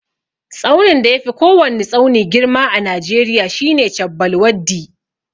Tsaunin da yafi kowwani tsauni girma a najeriya shine chabbal waddi.